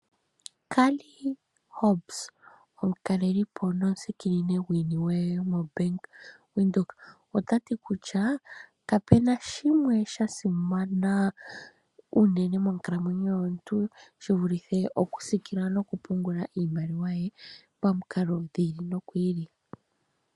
Claire Hobbs omukalelipo nomusikinini gwiiniwe yomo Bank Windhoek otati kutya kapena shimwe shasimana unene monkalamwenyo yomuntu shivulithe okusiikila nokupungula iimaliwa ye pamikalo dhi ili nodhi ili.